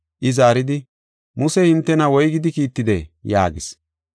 I zaaridi, “Musey hintena woygidi kiittidee?” yaagis.